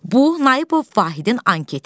Bu, Nayıbov Vahidin anketi.